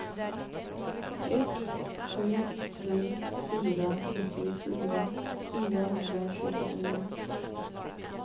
ett sju tre fyra nittiofyra fyrahundratjugonio